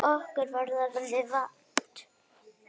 Okkur var orða vant.